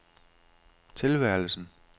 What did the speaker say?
tilværelsen